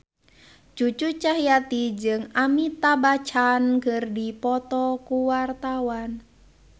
Cucu Cahyati jeung Amitabh Bachchan keur dipoto ku wartawan